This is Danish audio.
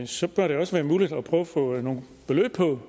så bør det også være muligt at prøve at få nogle beløb på